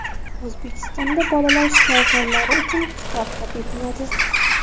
O‘zbekistonda bolalar shifokorlari uchun kitob chop etiladi.